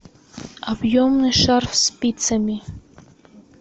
объемный шарф спицами